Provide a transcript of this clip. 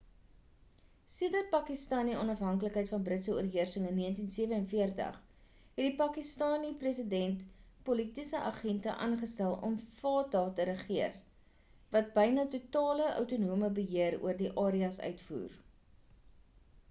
sedert pakistani onafhanklikheid van britse oorheersing in 1947 het die pakistani president politiese agente aangestel om die fata te regeer wat byna-totale outonome beheer oor die areas uitvoer